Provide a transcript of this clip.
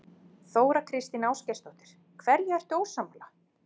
Þóra Kristín Ásgeirsdóttir: Hverju ertu ósammála?